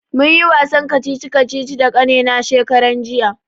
Mun yi wasan kacici kacici da kannena shekaran jiya